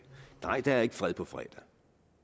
nej der er ikke fred på fredag